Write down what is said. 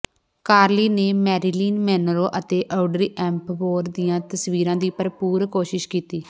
Carly ਨੇ Marilyn Monroe ਅਤੇ Audrey Hepburn ਦੀਆਂ ਤਸਵੀਰਾਂ ਦੀ ਭਰਪੂਰ ਕੋਸ਼ਿਸ਼ ਕੀਤੀ